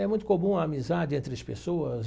É muito comum a amizade entre as pessoas.